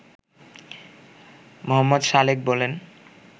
মো. সালেক বলেন